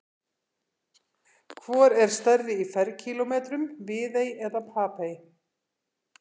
Hvor er stærri í ferkílómetrum, Viðey eða Papey?